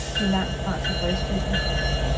Det er langt fra tilfredsstillende.